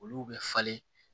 Olu bɛ falen